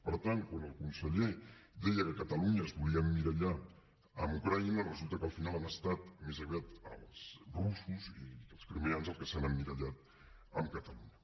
per tant quan el conseller deia que catalunya es volia emmirallar en ucraïna resulta que al final han estat més aviat els russos i els crimeans els que s’han emmirallat en catalunya